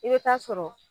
I bɛ taa sɔrɔ